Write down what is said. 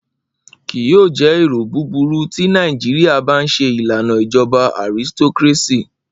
Kii yoo jẹ ero buburu ti Naijiria ba n ṣe ilana ijọba aristocracy.